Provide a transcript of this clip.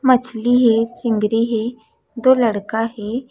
मछली हे चिंगरी हे दो लड़का हे।